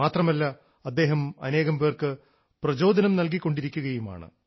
മാത്രമല്ല അദ്ദേഹം അനേകം പേർക്ക് പ്രചോദനം നൽകിക്കൊണ്ടിരിക്കുകയാണ്